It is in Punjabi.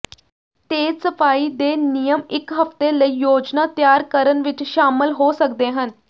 ਤੇਜ਼ ਸਫਾਈ ਦੇ ਨਿਯਮ ਇੱਕ ਹਫ਼ਤੇ ਲਈ ਯੋਜਨਾ ਤਿਆਰ ਕਰਨ ਵਿੱਚ ਸ਼ਾਮਲ ਹੋ ਸਕਦੇ ਹਨ